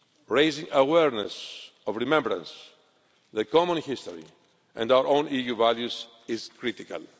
Raising awareness of remembrance, the common history and our own EU values is critical.